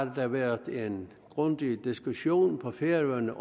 været en grundig diskussion på færøerne